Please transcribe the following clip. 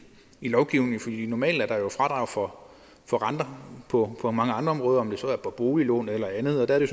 i lovgivningen normalt er der jo fradrag for for renter på på mange andre områder om det så er på boliglån eller andet og der er